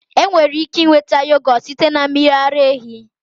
Enwere ike nweta yohgurt site na mmiri ara ehi